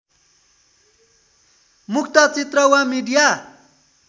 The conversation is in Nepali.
मुक्त चित्र वा मिडिया